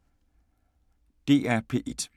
DR P1